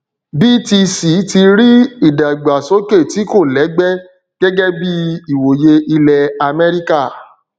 btc tí rí ìdàgbàsókè tí kò lẹgbẹ gẹgẹ bí ìwòye ilẹ amẹríkà